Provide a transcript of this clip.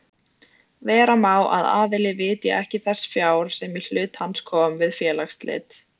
Vera má að aðili vitji ekki þess fjár sem í hlut hans kom við félagsslit.